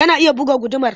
Tana iya buga gudumar?